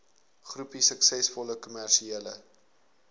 groepie suksesvolle kommersiële